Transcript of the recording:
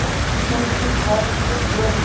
Starfsmennirnir krefjast betri launa